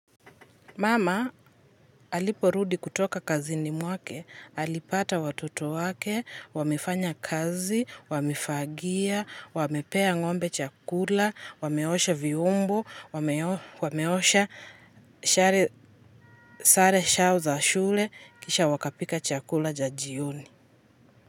Mama aliporudi kutoka kazini mwake, alipata watoto wake wamefanya kazi wamefagia, wamepea ng'ombe chakula, wameosha vyombo wameosha sare shao za shule, kisha wakapika chakula ja jioni.